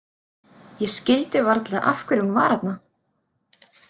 Ég skildi varla af hverju hún var þarna.